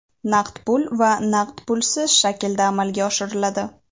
naqd pul va naqd pulsiz shaklda amalga oshiriladi.